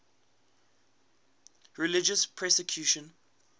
religious persecution